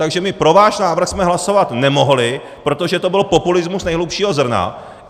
Takže my pro váš návrh jsme hlasovat nemohli, protože to byl populismus nejhlubšího zrna.